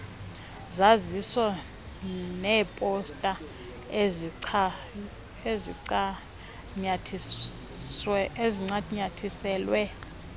zaziso neeposta ezincanyathiselwe